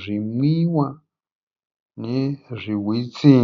zvimwiwa nezvihwitsi.